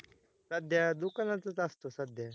सध्या, दुकानातच असतो सध्या